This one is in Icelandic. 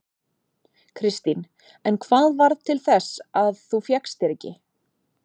Kristín: En hvað varð til þess að þú fékkst þér ekki?